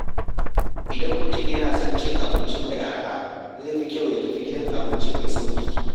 Idan mutum yana son abinci mai araha, zai fi kyau ya tafi gidan abinci mai sauƙi.